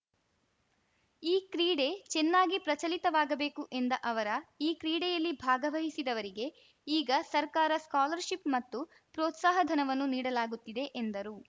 ಈ ಕ್ರೀಡೆ ಚೆನ್ನಾಗಿ ಪ್ರಚಲಿತವಾಗಬೇಕು ಎಂದ ಅವರ ಈ ಕ್ರೀಡೆಯಲ್ಲಿ ಭಾಗವಹಿಸಿದವರಿಗೆ ಈಗ ಸರ್ಕಾರ ಸ್ಕಾಲರ್‌ಶಿಪ್‌ ಮತ್ತು ಪ್ರೋತ್ಸಾಹ ಧನವನ್ನು ನೀಡಲಾಗುತ್ತಿದೆ ಎಂದರು